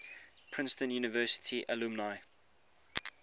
princeton university alumni